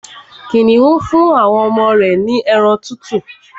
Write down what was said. Kìnìún fún àwọn ọmọ rẹ̀ ní ẹran tútù